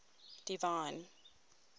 divine